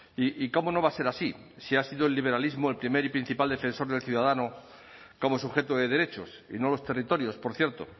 y cómo no va a ser así si ha sido el liberalismo el primer y principal defensor del ciudadano como sujeto de derechos y no los territorios por cierto